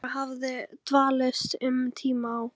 Ólafur hafði dvalist um tíma á